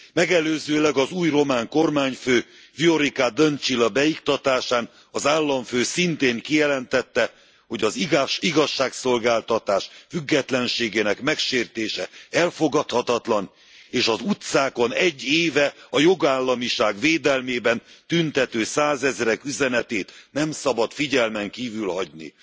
Megelőzőleg az új román kormányfő, Viorica Dǎncilǎ beiktatásán az államfő szintén kijelentette, hogy az igazságszolgáltatás függetlenségének megsértése elfogadhatatlan, és az utcákon egy éve a jogállamiság védelmében tüntető százezrek üzenetét nem szabad figyelmen kívül hagyni.